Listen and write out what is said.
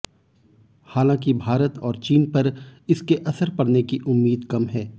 हालांकि भारत और चीन पर इसके असर पड़ने की उम्मीद कम है